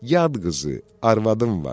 Yad qızı, arvadım var.